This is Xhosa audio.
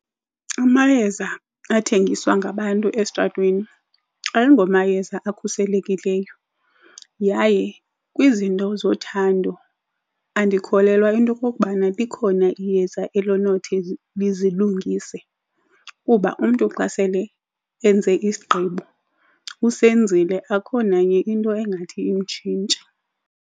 Amayeza athengiswa ngabantu estratweni ayingomayeza akhuselekileyo yaye kwizinto zothando andikholelwa into okokubana likhona iyeza elinothi lizilungise kuba umntu xa sele enze isigqibo usenzile akho nanye into engathi imtshintshe.